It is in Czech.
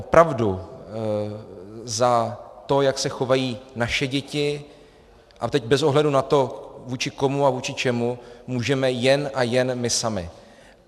Opravdu za to, jak se chovají naše děti, a teď bez ohledu na to, vůči komu a vůči čemu, můžeme jen a jen my sami.